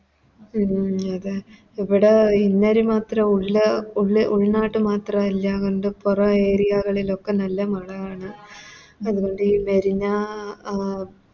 ഇവിടെ ഉൾനാട്ടിൽ മാത്രല്ല എല്ലാ ഉണ്ട് പുറം Area ലോക്കെ നല്ല മളയാണ്